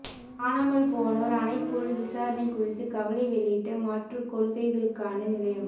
காணாமல் போனோர் ஆணைக்குழு விசாரணை குறித்து கவலை வெளியிட்ட மாற்றுக் கொள்கைகளுக்கான நிலையம்